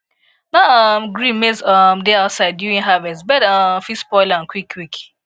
no um gree maize um dey outside during harvest bird um fit spoil am quick quick